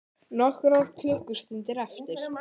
Nokkrar klukkustundir eftir